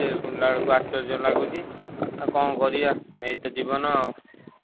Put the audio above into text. ଶୁଣିଲାବେଳକୁ ଆଶ୍ଚର୍ଯ୍ୟ ଲାଗୁଛି ଆଉ କଣ କରିବ ଏଇତ ଜୀବନ ଆଉ।